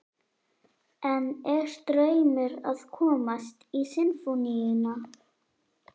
En er draumur að komast í Sinfóníuna?